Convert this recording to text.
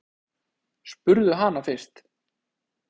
Spurðu hana fyrst.